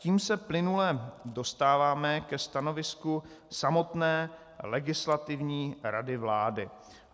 Tím se plynule dostáváme ke stanovisku samotné Legislativní rady vlády.